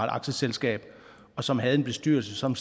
aktieselskab og som havde en bestyrelse som